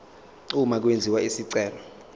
uma kwenziwa isicelo